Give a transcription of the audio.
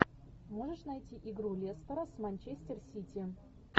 можешь найти игру лестера с манчестер сити